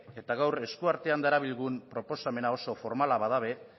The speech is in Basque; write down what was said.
eta gaur eskuartean darabilgun proposamena oso formala bada ere